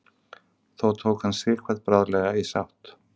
þó tók hann sighvat bráðlega í sátt